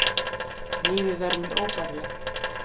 Lífið verður mér óbærilegt.